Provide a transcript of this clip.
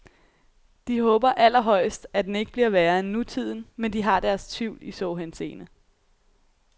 De håber allerhøjst, at den ikke bliver værre end nutiden, men de har deres tvivl i så henseende.